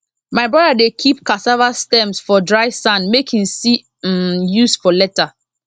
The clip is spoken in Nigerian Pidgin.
my brother dey keep cassava stems for dry sand make he see m use for later